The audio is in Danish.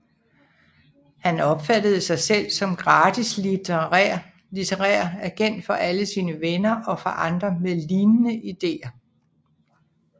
Han opfattede sig selv som gratis litterær agent for alle sine venner og for andre med lignende ideer